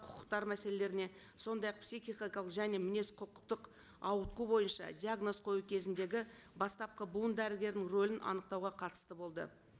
құқықтары мәселелеріне сондай ақ психикалық және мінез құқықтық ауытқу бойынша диагноз қою кезіндегі бастапқы буындары дердің рөлін анықтауға қатысты болды